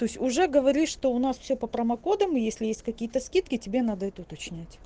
то есть уже говоришь что у нас все по промо кодам если есть какие-то скидки тебе надо это уточнять